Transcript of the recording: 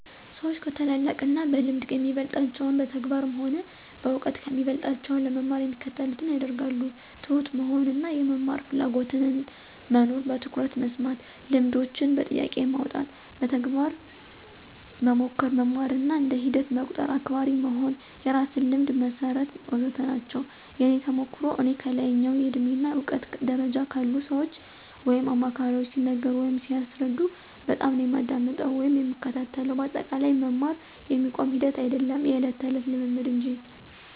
ሰዎች ከታላላቅ እና በልምድ የሚበልጣቸውን በተግባር ሆነ በእውቀት ከሚበልጦቸው ለመማር የሚከተሉትን ያደርጋሉ፦ ትሁት መሆን እና የመማር ፍላጎትና መኖር፣ በትኩረት መስማት፣ ልምዳቸውን በጥያቄ ማውጣት፣ በተግባር መሞከር፣ መማርን እንደ ሂደት መቁጠር፣ አክባሪ መሆን፣ የራስዎን ልምድ መሠርት... ወዘተ ናቸው። የእኔ ተሞክሮ፦ እኔ ከላይኛው የእድሜ እና እውቀት ደረጃ ካሉ ሰዎች ወይም አማካሪዎች ሲነገሩ ወይም ሲያስረዱ በጣምነው የማዳምጠው ወይም የምከታተለው በአጠቃላይ መማር የሚቆም ሂደት አይዶለም የዕለት ተዕለት ልምምድ እንጂ።